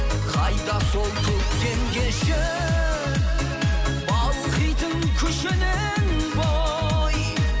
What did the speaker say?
қайда сол көктем кеші балқитын күшімен бой